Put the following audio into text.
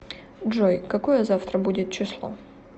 джой какое завтра будет число